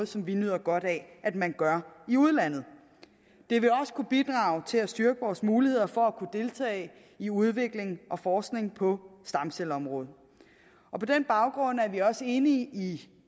som vi nyder godt af at man gør i udlandet det vil også kunne bidrage til at styrke vores muligheder for at deltage i udvikling og forskning på stamcelleområdet på den baggrund er vi også enige i